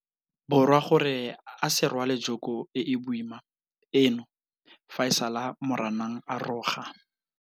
Borwa gore a se rwale joko e e boima eno fa e sale Moranang a roga.